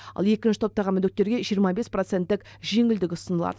ал екінші топтағы мүгедектерге жиырма бес проценттік жеңілдік ұсынылады